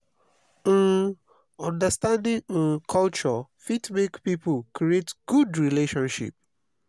um understanding um culture fit make pipo create good relationship